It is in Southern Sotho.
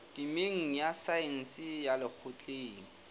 temeng ya saense ya lekgotleng